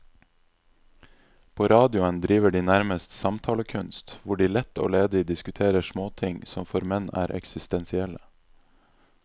På radioen driver de nærmest samtalekunst, hvor de lett og ledig diskuterer småting som for menn er eksistensielle.